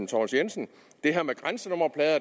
thomas jensen det her med grænsenummerplader